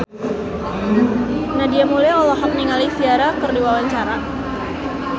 Nadia Mulya olohok ningali Ciara keur diwawancara